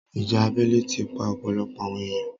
ìjà abẹ́lé ti pa ọ̀pọ̀lọpọ̀ àwọn èèyan.